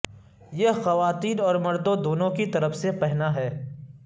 یہ خواتین اور مردوں دونوں کی طرف سے پہنا ہے